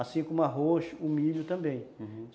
Assim como o arroz, o milho também, uhum.